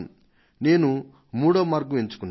నేను మూడో మార్గాన్ని ఎంచుకొన్నాను